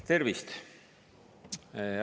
Tervist!